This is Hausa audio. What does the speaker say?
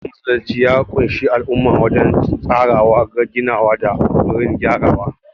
Ginin masallacin ya ƙunshi al'umma wajen tsarawa, ginawa, da kokarin gyarawa.